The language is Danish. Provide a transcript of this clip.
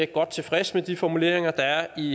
godt tilfredse med de formuleringer der er i